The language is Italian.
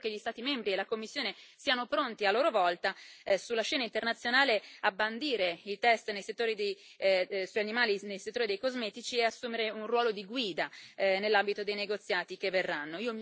Io spero che gli Stati membri e la Commissione siano pronti a loro volta sulla scena internazionale a bandire i test sugli animali nel settore dei cosmetici e ad assumere un ruolo di guida nell'ambito dei negoziati che verranno.